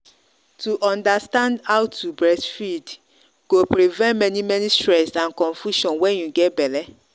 to understand how to breastfeed go prevent many many stress and confusion when you get belle.